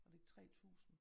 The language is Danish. Var det ikke 3 tusind?